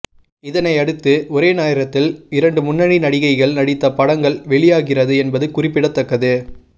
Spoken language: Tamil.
இதனை அடுத்து ஒரே நேரத்தில் இரண்டு முன்னணி நடிகைகள் நடித்த படங்கள் வெளியாகிறது என்பது குறிப்பிடத்தக்கது